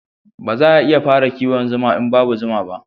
Ba za a iya fara kiwon zuma in babu zuma ba